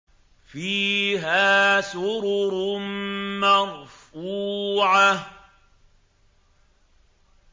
فِيهَا سُرُرٌ مَّرْفُوعَةٌ